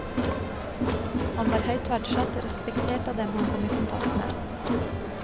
Han var høyt verdsatt og respektert av dem han kom i kontakt med.